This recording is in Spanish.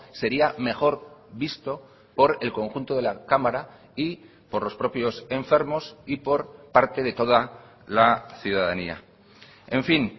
sería mejor visto por el conjunto de la cámara y por los propios enfermos y por parte de toda la ciudadanía en fin